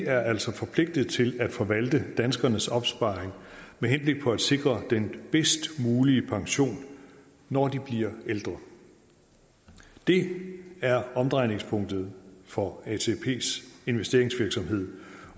er altså forpligtet til at forvalte danskernes opsparing med henblik på at sikre den bedst mulige pension når de bliver ældre det er omdrejningspunktet for atps investeringsvirksomhed